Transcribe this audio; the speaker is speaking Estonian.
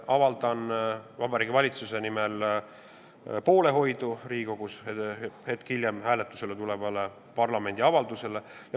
Avaldan Vabariigi Valitsuse nimel poolehoidu Riigikogus hetke pärast hääletusele tulevale parlamendi avaldusele.